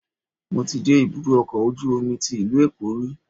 Mo ti dé ibùdó ọkọ̀ ojú omi tí ìlú Èkó rí.